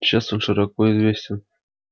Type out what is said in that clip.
сейчас он широко известен